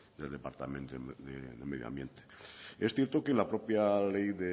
del departamento de medioambiente es cierto que la propia ley